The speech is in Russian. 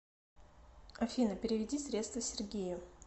афина переведи средства сергею